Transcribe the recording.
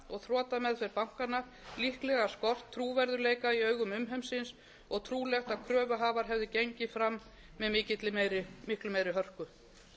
og þrotameðferð bankanna líklega skort trúverðugleika í augum umheimsins og trúlegt að kröfuhafar hefðu gengið fram með miklu meiri hörku